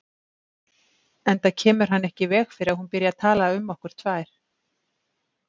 Enda kemur hann ekki í veg fyrir að hún byrji að tala um okkur tvær.